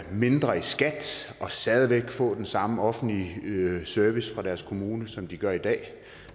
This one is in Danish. mindre i skat og stadig væk få den samme offentlige service fra deres kommune som de gør i dag